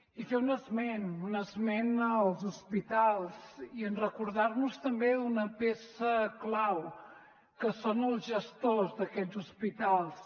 i fer un esment un esment dels hospitals i recordar nos també d’una peça clau que són els gestors d’aquests hospitals